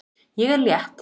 Ég er létt.